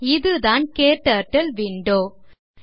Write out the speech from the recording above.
இதுதான் முழுமையான க்டர்ட்டில் விண்டோ ஆகும்